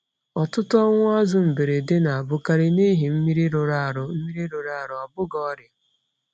Ọtụtụ ọnwụ azụ mberede na-abụkarị n’ihi mmiri rụrụ arụ, mmiri rụrụ arụ, ọ bụghị ọrịa.